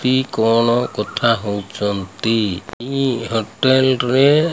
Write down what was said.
କି କଣ କଥା ହୋଉଚନ୍ତି ଇ ହୋଟେଲ ରେ --